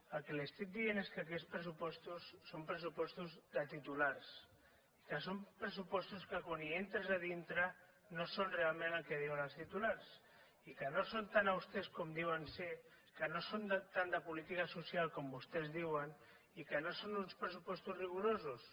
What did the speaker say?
el que li estic dient és que aquests pressupostos són pressupostos de titulars que són pressupostos que quan hi entres a dintre no són realment el que diuen els titulars i que no són tan austers com diuen que són que no són tant de política social com vostès diuen i que no són uns pressupostos rigorosos